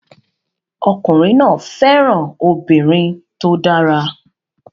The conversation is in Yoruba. Ọkùnrin náà fẹ́ràn obìnrin tó dára